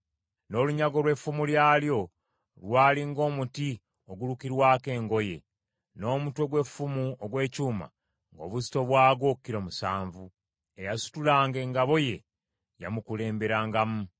N’olunyago lw’effumu lyalyo lwali ng’omuti ogulukirwako engoye, n’omutwe gw’effumu ogw’ekyuma ng’obuzito bwagwo kilo musanvu. Eyasitulanga engabo ye yamukulemberangamu.